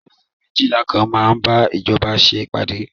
Yunifásitì méjìlà kan máa bá ìjọba ṣe ìpàdé.